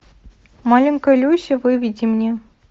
маленькая люся выведи мне